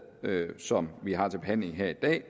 som vi har til behandling her i dag